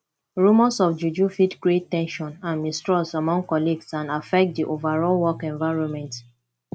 rumors of juju fit create ten sion and mistrust among colleagues and affect di overall work environment